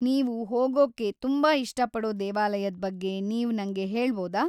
ನೀವು ಹೋಗೊಕ್ಕೆ ತುಂಬಾ ಇಷ್ಟಪಡೋ ದೇವಾಲಯದ್‌ ಬಗ್ಗೆ ನೀವ್‌ ನಂಗೆ ಹೇಳ್‌ಬೌದಾ?